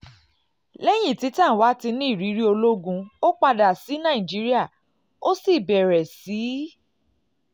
lẹ́yìn tí tanwa ti ní ìrírí ológun ó padà sí nàìjíríà ó sì bẹ̀rẹ̀ sí í bẹ̀rẹ̀ sí í